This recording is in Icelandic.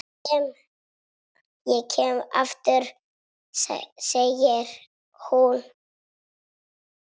Ég kem aftur, segir hún.